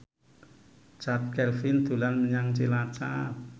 Chand Kelvin dolan menyang Cilacap